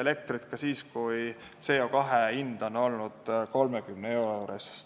elektrit ka siis, kui CO2 tonni hind oli 30 euro juures.